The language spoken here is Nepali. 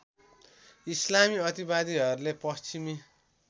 इस्लामी अतिवादीहरूले पश्चिमी